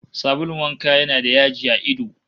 Sabulun wanka yana da yaji a ido